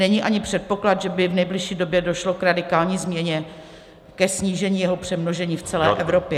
Není ani předpoklad, že by v nejbližší době došlo k radikální změně, ke snížení jeho přemnožení v celé Evropě.